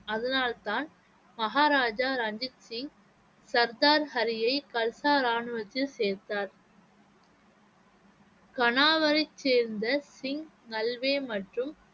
அதனால்தான் மகாராஜா ரஞ்சித் சிங் சர்தார் ஹரியை கல்சா ராணுவத்தில் சேர்த்தார் கனாவரை வை சேர்ந்த சிங் நல்வே மற்றும்